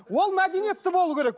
ол мәдениетті болуы керек